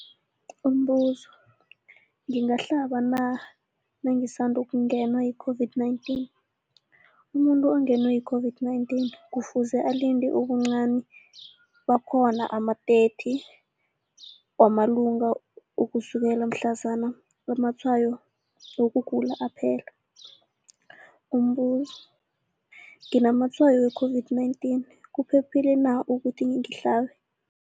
Umbuzo, ngingahlaba na nangisandu kungenwa yi-COVID-19? Umuntu ongenwe yi-COVID-19 kufuze alinde ubuncani bakhona ama-30 wama langa ukusukela mhlazana amatshayo wokugula aphela. Umbuzo, nginamatshayo we-COVID-19, kuphephile na ukuthi ngihlabe